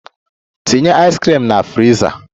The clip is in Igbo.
Tinye ice cream na friza!